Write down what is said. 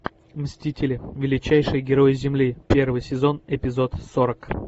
мстители величайшие герои земли первый сезон эпизод сорок